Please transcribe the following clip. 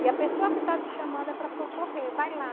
E a pessoa que está te chamando é para socorrer, vai lá.